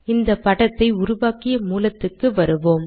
இந்த படத்தை உருவாக்கிய மூலத்துக்கு வருவோம்